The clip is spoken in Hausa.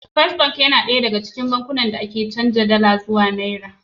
First Bank na ɗaya daga cikin bankunan da ake iya canza dala zuwa naira.